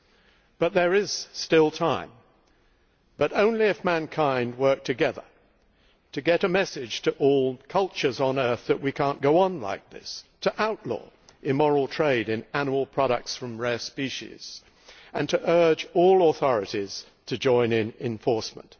However, there is still time but only if mankind can work together to get a message to all cultures on earth that we cannot go on like this, to outlaw the immoral trade in animal products from rare species, and to urge all authorities to join in enforcement.